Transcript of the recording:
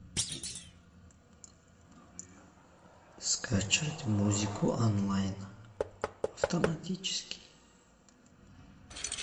скачать музыку онлайн автоматически